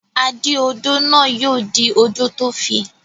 Adí-odó náà yóò dí odò tó fi.